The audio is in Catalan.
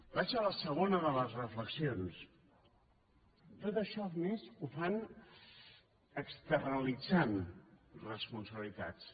vaig a la segona de les reflexions tot això a més ho fan externalitzant responsabilitats